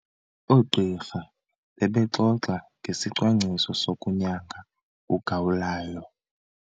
Oogqirha bebexoxa ngesicwangciso sokunyanga ugawulayo.